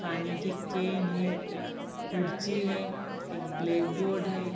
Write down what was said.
पानी की केन हैं कुर्सी हैं एक ब्लैकबोर्ड हैं।